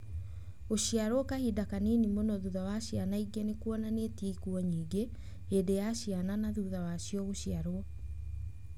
Gũciarwo kahinda kanini mũno thutha wa a ciana ingĩ nĩ kuonanĩtie kũrehe ikuũ nyingĩ, hĩndĩ ya ciana na thutha wacio gũciarwo.